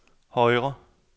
højre